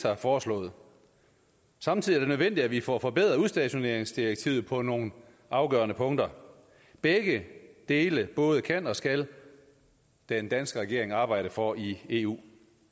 har foreslået samtidig er det nødvendigt at vi får forbedret udstationeringsdirektivet på nogle afgørende punkter begge dele både kan og skal den danske regering arbejde for i eu